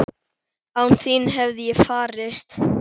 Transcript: Án þín hefði ég farist?